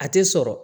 A tɛ sɔrɔ